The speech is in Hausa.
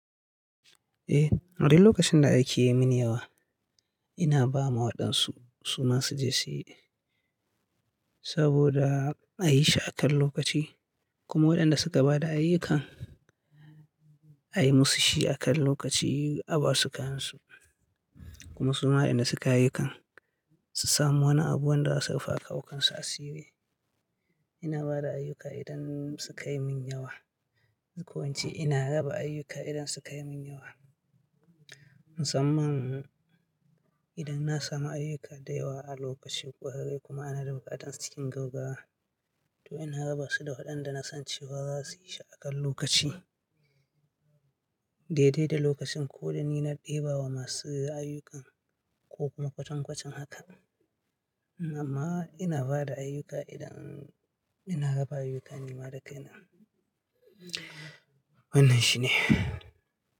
Eh, a dai lokacin da aiki ya mini yawa, ina ba ma waɗansu su, su ma su je su yi saboda a yi shi a kan lokaci. Kuma waɗanda suka ba da ayyukan, a yi musu shi a kan lokaci, a ba su kayan su, kuma suma wa ɗanda suka yi ayyukan su sami wani abu wanda za su rufawa kan su asiri. Ina ba da ayyuka idan suka yi min yawa. Ko in ce ina raba ayyuka idan suka yi min yawa. Musamman idan na samu ayyuka da yawa a lokaci ƙurarre kuma kuma ana da buƙatar sa cikin gaggawa. To ina raba su da waɗanda na san cewa za su yi shi a kan lokaci. Daidai da lokacin ko da ni na ɗebe wa masu ayyukan ko kuma kwatankwacin haka. Amma ina ba da ayyuka idan ina raba ayyuka ne ma da kai na. Wannan shi ne.